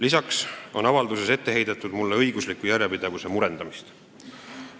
Lisaks on avalduses mulle ette heidetud õigusliku järjepidevuse murendamist.